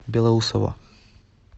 белоусово